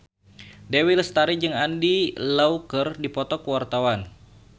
Dewi Lestari jeung Andy Lau keur dipoto ku wartawan